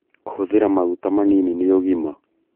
Kũhũthĩra maguta manini nĩ ũgima